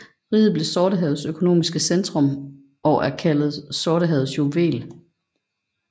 Riget blev Sortehavets økonomiske centrum og er kaldt Sortehavets juvel